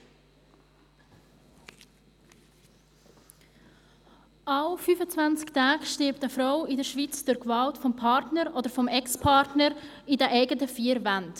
Alle 25 Tage stirbt eine Frau in der Schweiz durch Gewalt des Partners oder des Ex-Partners in den eigenen vier Wänden.